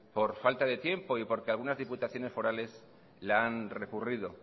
por falta de tiempo y porque algunas diputaciones forales la han recurrido